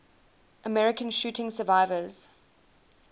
american shooting survivors